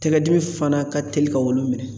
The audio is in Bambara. Tɛgɛ dimi fana ka teli ka wulu minɛ.